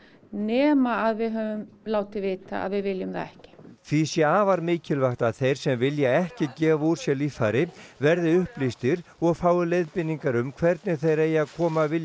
nema að við höfum látið vita að við viljum það ekki því sé afar mikilvægt að þeir sem vilja ekki gefa úr sér líffæri verði upplýstir og fái leiðbeiningar um hvernig þeir eigi að koma vilja